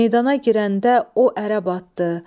Meydana girəndə o ərəb atdı.